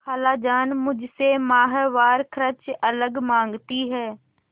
खालाजान मुझसे माहवार खर्च अलग माँगती हैं